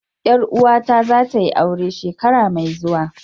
Yar uwata zatayi aure shekara mai zuwa.